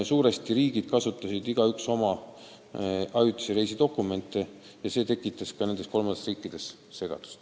Suur osa liikmesriike kasutas oma ajutisi reisidokumente ja see tekitas ka kolmandates riikides segadust.